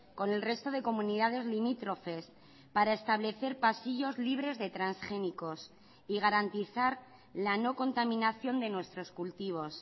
con el resto de comunidades limítrofes para establecer pasillos libres de transgénicos y garantizar la no contaminación de nuestros cultivos